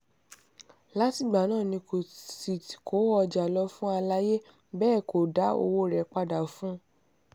látìgbà náà ni kò sì kó ọjà lọ fún aláàyè bẹ́ẹ̀ ni kò dá owó rẹ̀ padà fún un